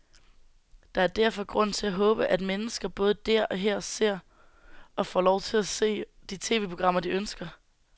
Der er derfor grund til at håbe, at mennesker både der og her ser, og får lov til at se, de tv-programmer, de ønsker.